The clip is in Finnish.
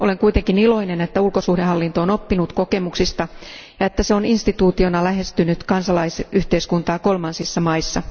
Olen kuitenkin iloinen, että ulkosuhdehallinto on oppinut kokemuksista ja että se on instituutiona lähestynyt kansalaisyhteiskuntaa kolmansissa maissa.